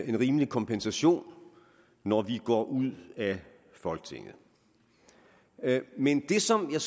en rimelig kompensation når vi går ud af folketinget men det som er